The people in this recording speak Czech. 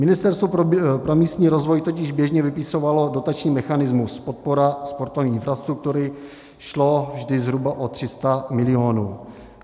Ministerstvo pro místní rozvoj totiž běžně vypisovalo dotační mechanismus podpora sportovní infrastruktury, šlo vždy zhruba o 300 milionů.